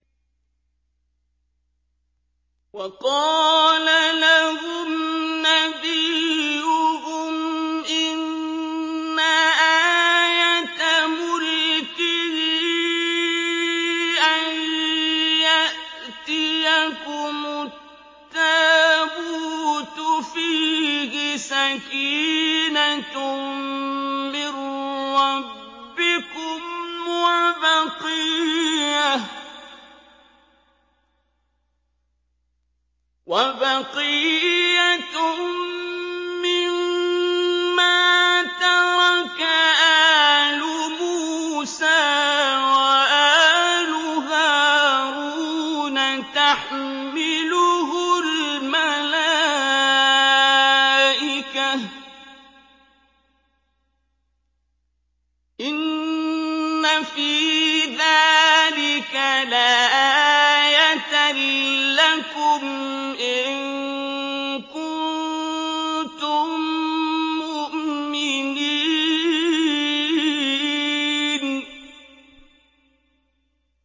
وَقَالَ لَهُمْ نَبِيُّهُمْ إِنَّ آيَةَ مُلْكِهِ أَن يَأْتِيَكُمُ التَّابُوتُ فِيهِ سَكِينَةٌ مِّن رَّبِّكُمْ وَبَقِيَّةٌ مِّمَّا تَرَكَ آلُ مُوسَىٰ وَآلُ هَارُونَ تَحْمِلُهُ الْمَلَائِكَةُ ۚ إِنَّ فِي ذَٰلِكَ لَآيَةً لَّكُمْ إِن كُنتُم مُّؤْمِنِينَ